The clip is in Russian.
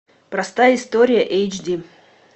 простая история эйч ди